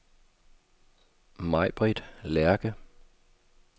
Majbritt Lerche